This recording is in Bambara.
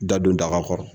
Da don daga kɔrɔ